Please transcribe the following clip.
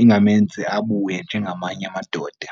ingamenzi abuye njengamanye amadoda.